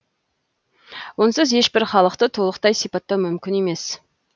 онсыз ешбір халықты толықтай сипаттау мүмкін емес